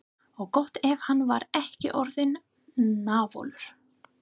Og gott ef hann var ekki orðinn náfölur.